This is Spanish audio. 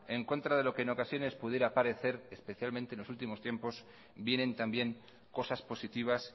en contra de lo que en ocasiones pudiera parecer especialmente en los últimos tiempos vienen también cosas positivas